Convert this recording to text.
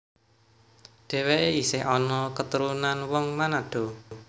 Dhèwèké isih ana keturunan wong Manado